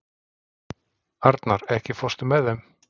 Arnar, ekki fórstu með þeim?